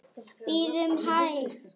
Bíðum hæg.